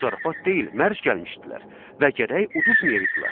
Zarafat deyil, mərc gəlmişdilər və gərək uduzmayaydılar.